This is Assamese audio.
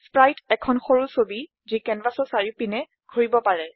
স্প্ৰাইট এখন সৰু ছবি যি কেনভাচৰ চাৰিওপিনে ঘূৰিব পাৰে